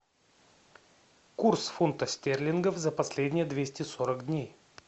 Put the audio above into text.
курс фунта стерлингов за последние двести сорок дней